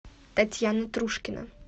татьяна трушкина